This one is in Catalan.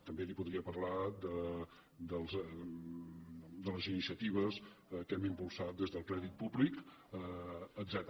també li podria parlar de les iniciatives que hem impulsat des del crèdit públic etcètera